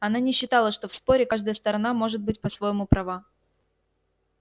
она не считала что в споре каждая сторона может быть по-своему права